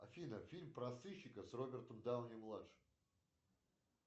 афина фильм про сыщика с робертом дауни младшим